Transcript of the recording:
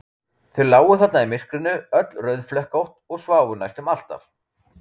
Þau lágu þarna í myrkrinu, öll rauðflekkótt, og sváfu næstum alltaf.